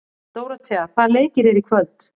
Dóróthea, hvaða leikir eru í kvöld?